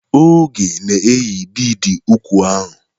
Oge na-eyi bidi úkwù ahụ.